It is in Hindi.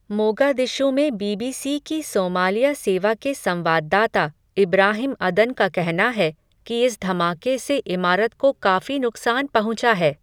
मोगादिशु में बीबीसी की सोमालिया सेवा के संवाददाता, इब्राहिम अदन का कहना है, कि इस धमाके से इमारत को काफ़ी नुकसान पहुंचा है.